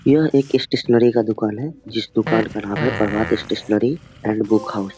यह एक स्टैशनेरी का दुकान है जिस दुकान का नाम है Prabhat stationery and guest house --